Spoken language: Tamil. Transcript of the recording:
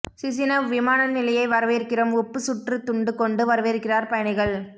சிசினவ் விமான நிலைய வரவேற்கிறோம் உப்பு சுற்று துண்டு கொண்டு வரவேற்கிறார் பயணிகள்